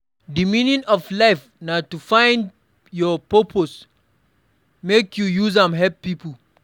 Di meaning of life na to find your purpose make you use am help pipo.